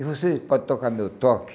E você pode tocar meu toque?